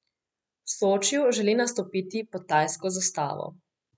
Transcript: V Sočiju želi nastopiti pod tajsko zastavo.